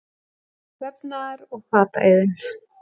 Vefnaðar- og fataiðn.